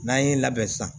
N'an ye n labɛn sisan